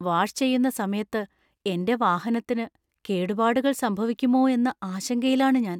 Wash ചെയുന്ന സമയത്ത് എന്‍റെ വാഹനത്തിന് കേടുപാടുകൾ സംഭവിക്കുമോ എന്ന ആശങ്കയിലാണു ഞാൻ.